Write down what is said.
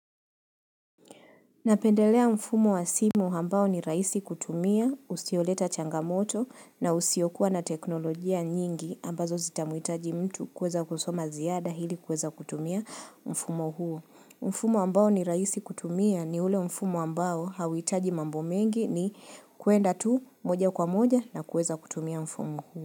Napendelea mfumo wa simu hambao ni rahisi kutumia, usioleta changamoto na usiokuwa na teknolojia nyingi ambazo zitamuhitaji mtu kuweza kusoma ziada hili kuweza kutumia mfumo huo. Mfumo ambao ni rahisi kutumia ni ule mfumo ambao hauhitaji mambo mengi ni kuenda tu moja kwa moja nakuweza kutumia mfumo huo.